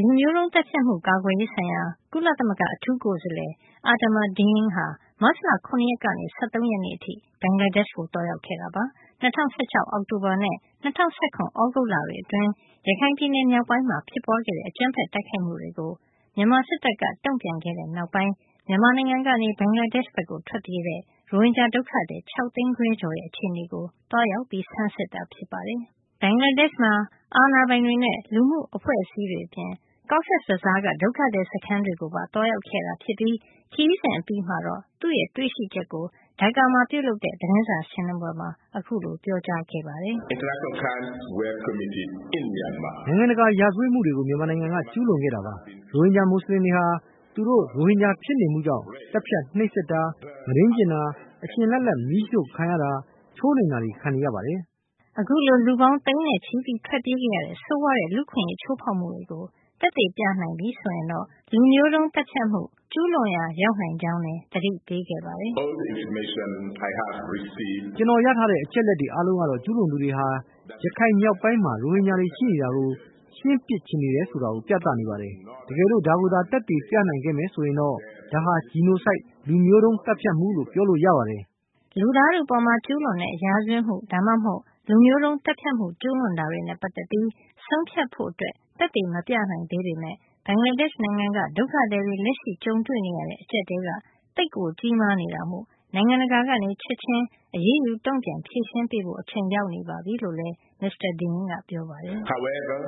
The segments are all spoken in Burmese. လူမျိုးတုန်း သတ်ဖြတ်မှု ကာကွယ်ရေးဆိုင်ရာ ကုလသမဂ္ဂ အထူးကိုယ်စားလှယ် Adama Dieng ဟာ မတ်လ ၇ ရက်ကနေ ၁၃ ရက်အထိ ဘင်္ဂလားဒေ့ရှ်ကို သွားရောက်ခဲ့တာပါ။ ၂၀၁၆ အောက်တိုဘာနဲ့ ၂၀၁၇ သြဂုတ်လတွေ အတွင်း ရခိုင်ပြည်နယ် မြောက်ပိုင်းမှာ ဖြစ်ပွါးတဲ့ အကြမ်းဖက်တိုက်ခိုက်မှုတွေကို မြန်မာစစ်တပ်က တုန့်ပြန်ခဲ့တဲ့နောက်ပိုင်း မြန်မာနိုင်ငံကနေ ဘင်္ဂလားဒေ့ရှ်ဘက်ထွက်ပြေးတဲ့ ရိုဟင်ဂျာ ဒုက္ခသည် ၆ သိန်းခွဲကျော်ရဲ့ အခြေနေကို သွားရောက်ဆန်းစစ်တာဖြစ်ပါတယ်။ ဘင်္ဂလားဒေ့ရှ်မှာ အာဏာပိုင်တွေနဲ့ လူမှုအဖွဲ့အစည်းတွေ အပြင် Cox’s Bazaar ကဒုက္ခသည် စခန်းတွေကိုပါ သွားရောက်ခဲ့တာဖြစ်ပြီး ခရီးစဉ်အပြီးမှာတော့ သူ့တွေ့ရှိချက်ကို Dhaka မှာပြုလုပ်တဲ့ သတင်းစာရှင်းလင်းပွဲမှာ ပြောကြားခဲ့ပါတယ်။ “နိုင်ငံတကာ ရာဇဝတ်မှုတွေကို မြန်မာနိုင်ငံက ကျူးလွန်ခဲ့တာပါ။ ရိုဟင်ဂျာ မူစလင်တွေဟာ သူတို့ရိုဟင်ဂျာ ဖြစ်နေမှုကြောင့်ပဲ သတ်ဖြတ်နှိပ်စက်တာ၊ မုဒိန်းကျင့်တာ၊ အရှင်လတ်လတ်မီးရှို့ခံရတာ၊ ချိုးနှိမ်တာတွေကို ခံနေရတာပါ။” အခုလို လူပေါင်းသိန်းနဲ့ချီပြီး ထွက်ပြေးခဲ့ရတဲ့ ဆိုးရွားတဲ့ လူ့အခွင့်အရေး ချိုးဖောက်မှုတွေကို သက်သေပြနိုင်ပြီ ဆိုရင်တော့ လူမျိုးတုန်း သတ်ဖြတ်မှုကျုးလွန်ရာ ရောက်နိုင်ကြောင်းလည်း သတိပေးခဲ့ပါတယ်။ “ ကျွန်တော်ရထားတဲ့ အချက်အလက်တွေ အားလုံးကတော့ ကျူးလွန်သူတွေဟာ ရခိုင်မြောက်ပိုင်းမှာ ရိုဟင်ဂျာတွေ ရှိနေတာကို ရှင်းပစ်ချင်နေတယ်ဆိုတာ ပြသနေပါတယ်။ တကယ်လို့ ဒါကိုသာ သက်သေပြနိုင်ခဲ့မယ်ဆိုရင် ဒါဟာ genocide လူမျိုးတုံး သတ်ဖြတ်မှု လို့ပြောလို့ရပါတယ်” လူသားထုအပေါ် ကျုးလွန်တဲ့ ရာဇဝတ်မှု ဒါမှမဟုတ် လူမျိုးတုံး သတ်ဖြတ်မှု ကျုးလွန်တာတွေနဲ့ ပတ်သက်ပြီး ဆုံးဖြတ်ဖို့ သက်သေမပြနိုင်သေးပေမယ့် ဘင်္ဂလားဒေ့ရှ်နိုင်ငံက ဒုက္ခသည်တွေ လက်ရှိကြုံတွေ့နေရတဲ့ အကြပ်အတည်းက သိပ်ကိုကြီးမား နေတာမို့ နိုင်ငံတကာက ချက်ချင်း အရေးယူ တုန့်ပြန်ဖြေရှင်းပေးကြဖို့ အချိန်ရောက်နေပြီလို့ မစ္စတာ Dieng က ပြောခဲ့ပါတယ်။ “ဘာပဲပြော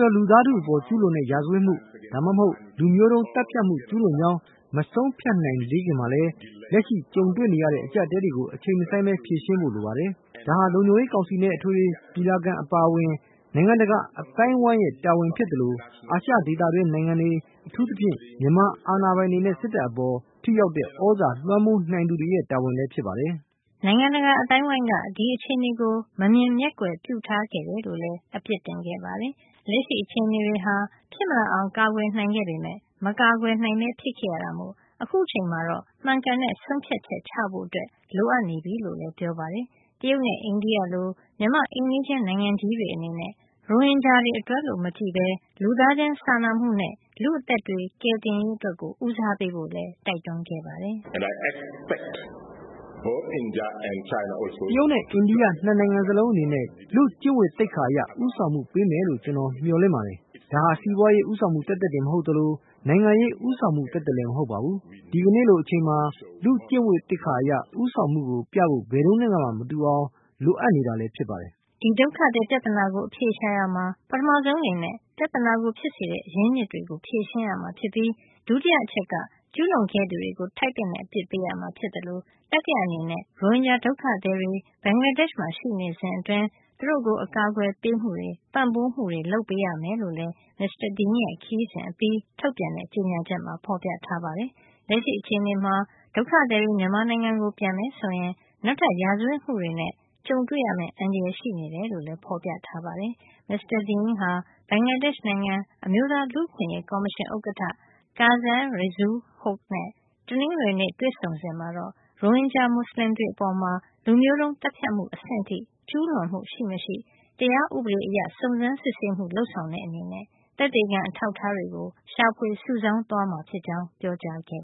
ပြော လူသားထုအပေါ် ကျုးလွန်တဲ့ ရာဇဝတ်မှု၊ ဒါမှမဟုတ် လူမျိုးတုံး သတ်ဖြတ်မှု ကျုးလွန်ကြောင်း မဆုံးဖြတ်နိုင်သေးခင်မှာလည်း လက်ရှိကြုံတွေ့ နေရတဲ့ အကျပ်အတည်းကို အချိန်မဆိုင်းပဲ ဖြေရှင်းဖို့လိုပါတယ်။ ဒါဟာ လုံခြုံရေးကောင်စီနဲ့ အထွေထွေညီလာခံ အပါအဝင် နိုင်ငံတကာအသိုင်းအဝိုင်းရဲ့ တာဝန်ဖြစ်သလို အာရှ ဒေသတွင်းနိုင်ငံတွေ အထူးသဖြင့် မြန်မာအာဏာပိုင်တွေနဲ့ စစ်တပ်အပေါ် ထိရောက်တဲ့သြဇာ လွှမ်းမိုးနိုင်သူတွေရဲ့ တာဝန်လည်း ဖြစ်ပါတယ်။” နိုင်ငံတကာ အသိုင်းအဝိုင်းက ဒီအခြေနေကို မမြင်မျက်ကွယ်ပြုထားခဲ့တယ်လို့လည်း အပြစ်တင်ခဲ့ပါတယ်။ လက်ရှိ အခြေအနေတွေဟာ ဖြစ်မလာအောင် ကာကွယ်နိုင်ခဲ့ပေမယ့် မကာကွယ်နိုင်ပဲဖြစ်ခဲ့ရတာမို့ အခုအချိန်မှာ မှန်ကန်တဲ့ ဆုံးဖြတ်ချက် ချဖို့ လိုနေပြီလို့လည်း ပြောပါတယ်။ တရုတ်နဲ့ အိန္ဒိယလို့ မြန်မာ့အိမ်နီးချင်း နိုင်ငံကြီးတွေအနေနနဲ့ ရိုဟင်ဂျာအတွက်လို့ မကြည့်ဘဲလူသားချင်းစာနာမှုနဲ့ လူ့အသက်တွေ ကယ်တင်ရေး အတွက်ကို ဦးစားပေးဖို့လည်း တိုက်တွန်းခဲ့ပါတယ်။ “တရုတ်နဲ့ အိန္ဒိယ ၂ နိုင်ငံစလုံးအနေနဲ့ လူ့ကျင့်ဝတ်သိက္ခာ အရ ဦးဆောင်မှုပေးမယ်လို့ ကျွန်တော်မျှော်လင့် ပါတယ်။ ဒါဟာ စီးပွါးရေဦးဆောင်မှုသက်သက်မဟုတ်သလို နိုင်ငံရေးဦးဆောင်မှု သက်သက်လည်း မဟုတ်ပါဘူး။ ဒီကနေ့လိုအချိန်မှာ လူ့ကျင့်ဝတ်သိက္ခာအရ ဦးဆောင်မှုကို ပြဖို့ ဘယ်တုန်းကနဲ့မှ မတူအောင်ကို လိုအပ်နေတာပါ” ဒီဒုက္ခသည် ပြဿနာကို အဖြေရှာရာမှာ ပထမဆုံးအနေနဲ့ ပြဿနာကို ဖြစ်စေတဲ့ အရင်းအမြစ်တွေကို ဖြေရှင်းရမှာ ဖြစ်ပြီး ဒုတိယအချက်အနေနဲ့ ကျူးလွန်ခဲ့သူတွေကို ထိုက်သင့်တဲ့ အပစ်ပေးရမှာ ဖြစ်သလို တတိယအနေနဲ့ ရိုဟင်ဂျာဒုက္ခသည်တွေ ဘင်္ဂလားဒေ့ရှ်မှာ ရှိနေစဉ်အတွင်း သူတို့ကို အကာကွယ်ပေးမှုတွေ၊ ပံ့ပိုးမှုတွေ လုပ်ပေးရမယ်လို့လည်း မစ္စတာ Dieng ရဲ့ ခရီးစဉ်အပြီး ထုတ်ပြန်တဲ့ ကြေညာချက်မှာ ဖေါ်ပြထားပါတယ်။ လက်ရှိအခြေနေမှာ ဒုက္ခသည်တွေ မြန်မာနိုင်ငံကို ပြန်မယ်ဆိုရင် နောက်ထပ် ရာဇဝတ်မှုတွေနဲ့ ကြုံတွေ့ရမယ့် အန္တရာယ် ရှိနေတယ်လို့လည်း ဖေါ်ပြထားပါတယ်။ မစ္စတာ Dieng ဟာ ဘင်္ဂလားဒေ့ချ်နိုင်ငံ အမျိုးသား လူ့အခွင့်အရေးကော်မရှင် ဥက္ကဌ Kazi Reazul Hoque နဲ့ တနင်္ဂနွေနေ့တွေ့ဆုံစဉ်မှာ တော့ ရိုဟင်ဂျာမူဆလင်တွေအပေါ် လူမျိုးတုန်းသတ်ဖြတ်မှုအဆင့်ထိ ကျူးလွန်မှု ရှိမရှိ တရားဥပဒေအရ စုံစမ်းစစ်ဆေးမှု လုပ်ဆောင်တဲ့အနေနဲ့ သက်သေခံ အထောက်အထားတွေကို ရှာဖွေစုဆောင်းသွားမှာဖြစ်ကြောင်း ပြောခဲ့